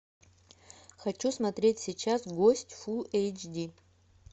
хочу смотреть сейчас гость фулл эйч ди